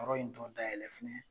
Yɔrɔ in tɔ da yɛlɛ fɛnɛ